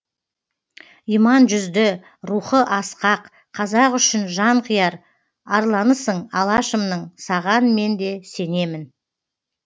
иман жүзді рухы асқақ қазақ үшін жан қияр арланысың алашымның саған мен де сенемін